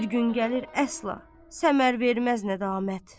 Bir gün gəlir əsla, səmər verməz nədamət.